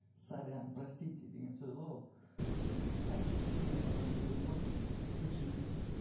сорян простите деген сөз ғой ол әке шешеме айтқан сөзім ғой кешіріңіз деп